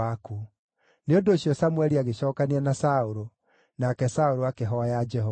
Nĩ ũndũ ũcio Samũeli agĩcookania na Saũlũ, nake Saũlũ akĩhooya Jehova.